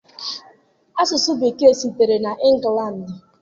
Asụsụ Bekee sitere na England.